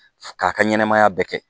K'a ka ɲɛnɛmaya bɛɛ kɛ